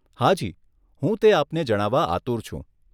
હાજી હું તે આપને જણાવવા આતુર છું.